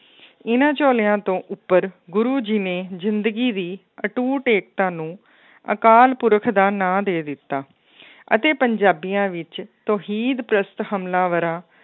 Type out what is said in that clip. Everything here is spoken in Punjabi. ਇਹਨਾਂ ਝੋਲਿਆਂ ਤੋਂ ਉੱਪਰ ਗੁਰੂ ਜੀ ਨੇ ਜ਼ਿੰਦਗੀ ਦੀ ਅਟੂਟ ਏਕਤਾ ਨੂੰ ਅਕਾਲ ਪੁਰਖ ਦਾ ਨਾਂ ਦੇ ਦਿੱਤਾ ਅਤੇ ਪੰਜਾਬੀਆਂ ਵਿੱਚ ਤੋਹੀਦ ਪ੍ਰਸਤ ਹਮਲਾਵਰਾਂ